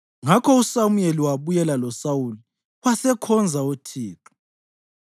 Ngakho uSamuyeli wabuyela loSawuli wasekhonza uThixo.